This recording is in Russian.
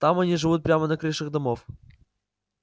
там они живут прямо на крышах домов